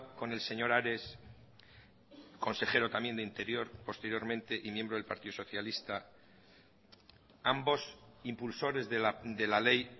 con el señor ares consejero también de interior posteriormente y miembro del partido socialista ambos impulsores de la ley